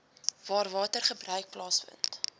waar watergebruik plaasvind